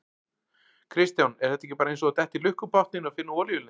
Kristján: Er þetta ekki bara eins og að detta í lukkupottinn og finna olíulind?